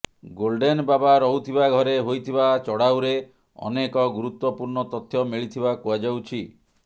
golden Baba ରହୁଥିବା ଘରେ ହୋଇଥିବା ଚଢ଼ଉରେ ଅନେକ ଗୁରୁତ୍ବପୂର୍ଣ୍ଣ ତଥ୍ୟ ମିଳିଥିବା କୁହାଯାଉଛି